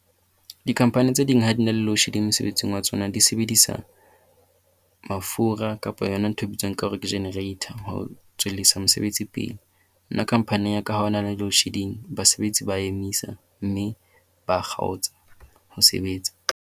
Di-company tse ding ha di na le load shedding mosebetsing wa tsona di sebedisa mafura kapa yona ntho e bitswang ka hore ke generator ho tswellisa mosebetsi pele. Nna company ya ka ha hona le load shedding basebetsi ba emisa. Mme ba kgaotsa ho sebetsa.